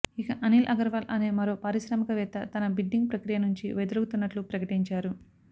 ఇక అనిల్ అగర్వాల్ అనే మరో పారిశ్రామిక వేత్త తన బిడ్డింగ్ ప్రక్రియ నుంచి వైదొలుగుతున్నట్లు ప్రకటించారు